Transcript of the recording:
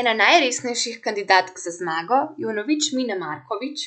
Ena najresnejših kandidatk za zmago je vnovič Mina Markovič,